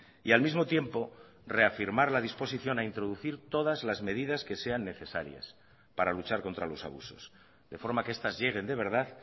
y al mismo tiempo reafirmar la disposición a introducir todas las medidas que sean necesarias para luchar contra los abusos de forma que estas lleguen de verdad